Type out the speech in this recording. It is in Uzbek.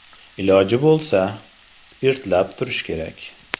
Iloji bo‘lsa, spirtlab turish kerak.